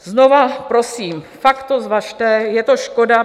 Znova prosím, fakt to zvažte, je to škoda.